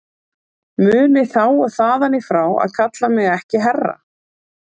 Munið þá og þaðan í frá að kalla mig ekki herra.